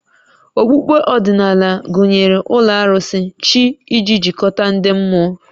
Okpukpe ọdịnala gụnyere ụlọ arụsị, chi iji jikọta ndị mmụọ